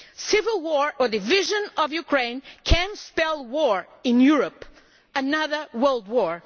Civil war or the division of Ukraine could spell war in Europe another world war